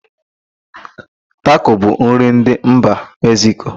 Tako bụ nri ndị mba Mekziko.